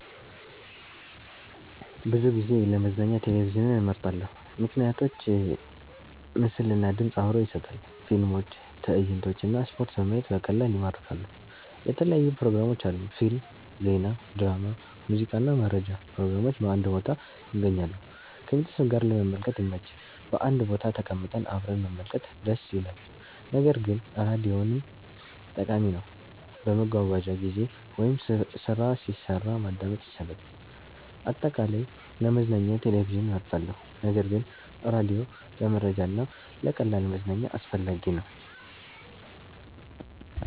ብዙ ጊዜ ለመዝናኛ ቴሌቪዥንን እመርጣለሁ። ምክንያቶች ምስል እና ድምፅ አብሮ ይሰጣል – ፊልሞች፣ ትዕይንቶች እና ስፖርት በማየት በቀላሉ ይማርካሉ። የተለያዩ ፕሮግራሞች አሉ – ፊልም፣ ዜና፣ ድራማ፣ ሙዚቃ እና መረጃ ፕሮግራሞች በአንድ ቦታ ይገኛሉ። ከቤተሰብ ጋር ለመመልከት ይመች – በአንድ ቦታ ተቀምጠን አብረን መመልከት ደስ ይላል። ነገር ግን ራዲዮም ጠቃሚ ነው፤ በመጓጓዣ ጊዜ ወይም ስራ ሲሰራ ማዳመጥ ይቻላል። አጠቃላይ፣ ለመዝናኛ ቴሌቪዥን እመርጣለሁ ነገር ግን ራዲዮ ለመረጃ እና ለቀላል መዝናኛ አስፈላጊ ነው።